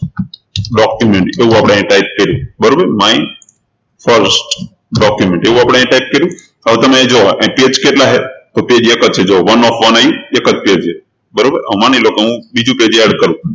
document એવું આપણે અહી type કર્યું બરોબર my first document એવું આપણે અહી type કર્યું હવે તમે જુઓ અહી page કેટલા છે તો page એક જ છે one of one જુઓ હવે માની લો કે હું બીજું pageadd કરું